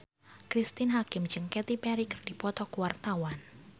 Cristine Hakim jeung Katy Perry keur dipoto ku wartawan